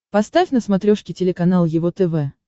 поставь на смотрешке телеканал его тв